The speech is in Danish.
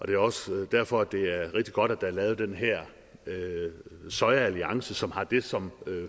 det er også derfor at det er rigtig godt at der er lavet den her sojaalliance som har det som